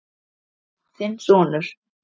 Þinn sonur.